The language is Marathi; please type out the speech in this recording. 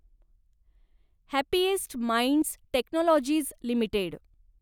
happiest minds technologies limited